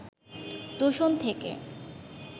দূষণ থেকে